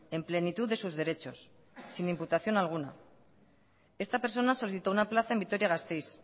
en plenitud de sus derechos sin imputación alguna esta persona solicitó una plaza en vitoria gasteiz